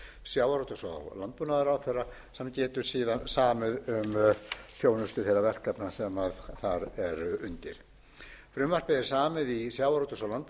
sjávarútvegs og landbúnaðarráðherra hann getur samið um þjónustu þeirra verkefna sem þar eru undir frumvarpið er samið í sjávarútvegs og landbúnaðarráðuneytinu að tilhlutan sjávarútvegs og